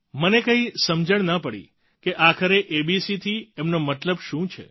મને કંઈ સમજણ ન પડી કે આખરે એબીસી થી એમનો મતલબ શું છે